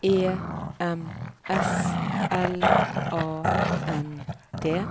E M S L A N D